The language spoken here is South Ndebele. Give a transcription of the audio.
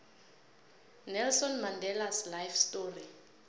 nelson mandelas life story